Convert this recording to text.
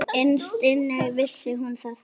Innst inni vissi hún það.